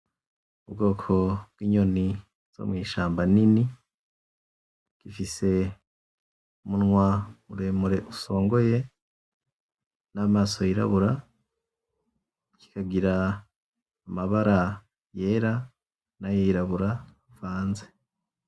Ubwoko bwinyoni zo mwishamba nini ifise umunwa muremure usongoye namaso yirabura kikagira amabara yera nayirabura avanze